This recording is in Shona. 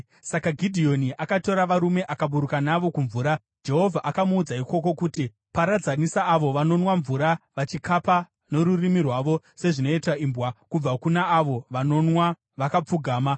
Saka Gidheoni akatora varume akaburuka navo kumvura. Jehovha akamuudza ikoko kuti, “Paradzanisa avo vanonwa mvura vachikapa norurimi rwavo sezvinoita imbwa kubva kuna avo vanonwa vakapfugama.”